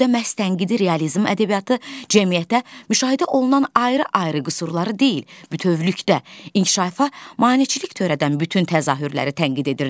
Bu dövrdə məhz tənqidi realizm ədəbiyyatı cəmiyyətdə müşahidə olunan ayrı-ayrı qüsurları deyil, bütövlükdə inkişafa maneçilik törədən bütün təzahürləri tənqid edirdi.